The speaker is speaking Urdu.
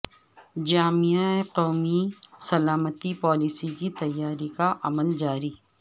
جامع قومی سلامتی پالیسی کی تیاری کا عمل جاری